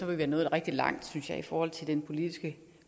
vi være nået rigtig langt synes jeg i forhold til den politiske